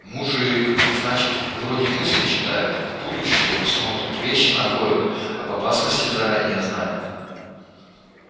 мужик значит вроде мысли читает в будущее смотрит вещи находит об опасности заранее знает